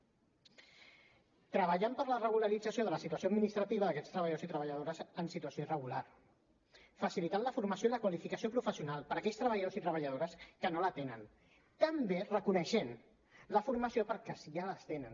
treballem per la regularització de la situació administrativa d’aquests treballadors i treballadores en situació irregular facilitem la formació i la qualificació professional per a aquells treballadors i treballadores que no la tenen també reconeixem la formació perquè si ja la tenen